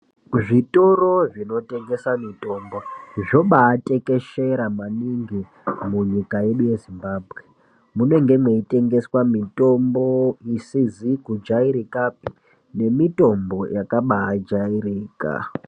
Zvitoro zvinotengese mitombo zvobaatekeshera maningi munyika yedu yeZimbabwe .Munenge mweitengeswe mitombo isizi kujairikapi nemitombo yakabaajairika.